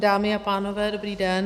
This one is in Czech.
Dámy a pánové, dobrý den.